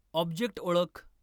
object ओळख